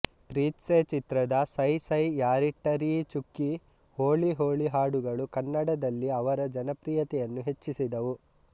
ಪ್ರೀತ್ಸೆ ಚಿತ್ರದ ಸೈ ಸೈ ಯಾರಿಟ್ಟರೀ ಚುಕ್ಕಿ ಹೋಳಿ ಹೋಳಿ ಹಾಡುಗಳು ಕನ್ನಡದಲ್ಲಿ ಅವರ ಜನಪ್ರಿಯತೆಯನ್ನು ಹೆಚ್ಚಿಸಿದವು